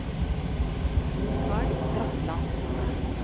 Mikael Bratland